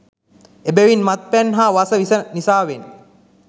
එබැවින් මත් පැන් හා වස විස නිසාවෙන්